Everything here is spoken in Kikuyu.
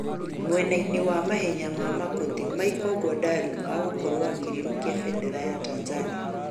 mwenaĩnĩ wa mahenya ma makũtĩ Michael Gwandarũ agũkorwo akĩrĩrũkia bendera ya Tanzania